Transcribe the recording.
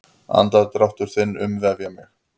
Andardrátt þinn umvefja mig.